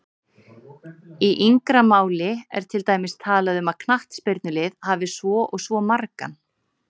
Í yngra máli er til dæmis talað um að knattspyrnulið hafi svo og svo margan